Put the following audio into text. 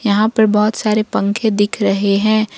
यहां पर बहुत सारे पंखे दिख रहे हैं।